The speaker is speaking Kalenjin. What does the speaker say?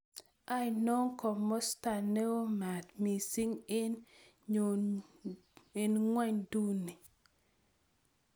Ano komosto neo maat miising' eng' ng'wonynduni